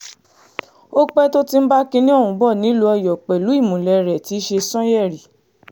ó pẹ́ tó ti ń bá kinní ọ̀hún bọ́ nílùú ọ̀yọ́ pẹ̀lú ìmùlẹ̀ rẹ̀ tí í ṣe sànyérí